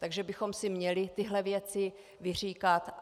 Takže bychom si měli tyto věci vyříkat.